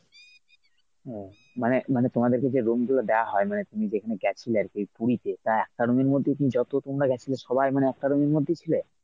ও মানে মানে তোমাদেরকে যে room গুলো দেয়া হয় মানে তুমি যেখানে গেছিলে আরকি পুরীতে তা একটা room এর মধ্যে কী যত তোমরা গেছিলে সবাই মানে একটা room এর মধ্যেই ছিলে?